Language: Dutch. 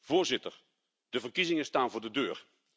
Voorzitter, de verkiezingen staan voor de deur.